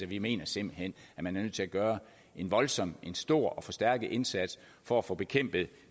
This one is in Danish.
vi mener simpelt hen man er nødt til at gøre en voldsomt stor og forstærket indsats for at få bekæmpet